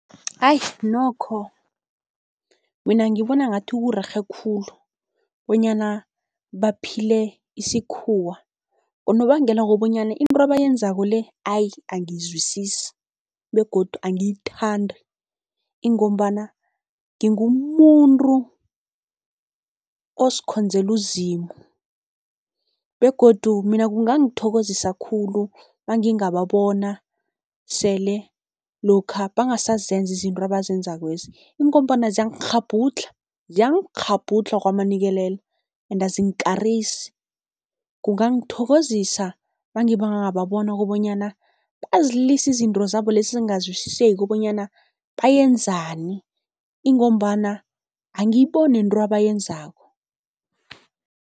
Ayi nokho mina ngibona ngathi kurerhe khulu bonyana baphile isikhuwa, ngonobangela wokobanyana into abayenzako le ayi, angiyizwisisi begodu angiyithandi ingombana ngingumuntu ozikhonzela uZimu. Begodu mina kungangithokozisa khulu maningababona sele lokha bangasazenza izinto abazenzakwezi, ingombana ziyangikghabhudlha, ziyangikghabhudlha kwamanikelela ende azingikarisi. Kungangithokozisa mangibababona kobanyana bazilise izinto zabo lesi ezingazwisiseki bonyana bayenzani, ingombana angiyiboni nento abayenzako.